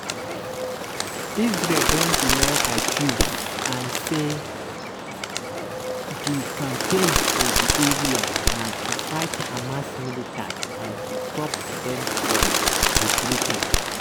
israel don deny accuse and say di campaign for di area na to fight hamas militants and stop dem from regrouping.